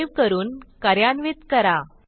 save करून कार्यान्वित करा